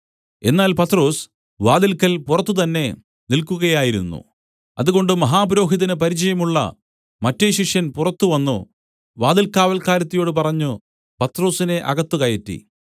എന്നാൽ പത്രൊസ് വാതില്ക്കൽ പുറത്തുതന്നെ നില്ക്കുകയായിരുന്നു അതുകൊണ്ട് മഹാപുരോഹിതന് പരിചയമുള്ള മറ്റെ ശിഷ്യൻ പുറത്തു വന്നു വാതില്കാവല്ക്കാരത്തിയോടു പറഞ്ഞു പത്രൊസിനെ അകത്ത് കയറ്റി